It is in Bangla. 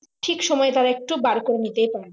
ঠিক সময় তারা একটু বার করে নিতেই পারবে